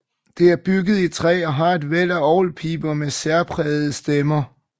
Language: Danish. Det er bygget i træ og har et væld af orgelpiber med særprægede stemmer